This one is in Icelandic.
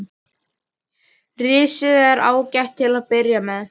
Risið er ágætt til að byrja með.